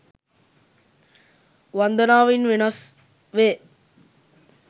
වන්දනාව ඉන් වෙනස් වේ.